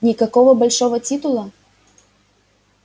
никакого большого титула